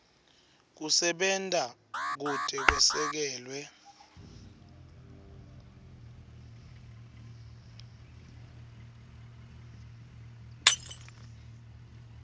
kusebenta kute kwesekelwe